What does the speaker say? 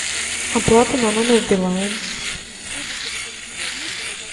оплата на номер билайн